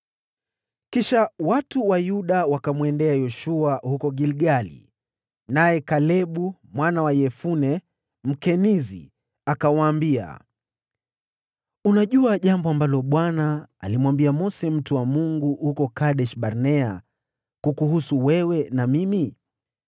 Kisha watu wa Yuda wakamwendea Yoshua huko Gilgali, naye Kalebu mwana wa Yefune yule Mkenizi, akamwambia, “Unajua jambo ambalo Bwana alimwambia Mose mtu wa Mungu huko Kadesh-Barnea kukuhusu wewe na mimi.